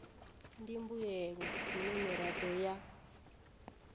ndi mbuelo dzine miraḓo ya